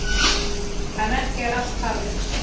En ekki er allt talið.